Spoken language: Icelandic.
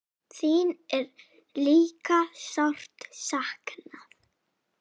Þín er líka sárt saknað.